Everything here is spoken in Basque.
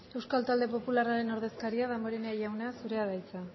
euskal talde popularraren ordezkaria damborenea jauna zurea da hitza